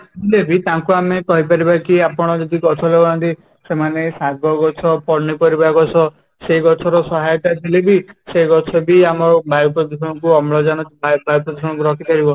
ଥିଲେ ବି ତାଙ୍କୁ ଆମେ କହିପାରିବା କି ଆପଣ ଯଦି ଗଛ ଲଗାନ୍ତି ସେମାନେ ଶାଗ ଗଛ, ପନିପରିବା ଗଛ ସେ ଗଛ ର ସହାୟତା ଥିଲେ ବି ସେ ଗଛ ବି ଆମ ବାୟୂପ୍ରଦୂଷଣ କୁ ଅମ୍ଳଜାନ ବାୟୂପ୍ରଦୂଷଣ କୁ ରୋକିପାରିବ